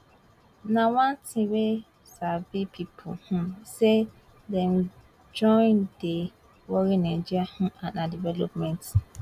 na one tin wey sabi pipo um say dey join dey worry nigeria um and her development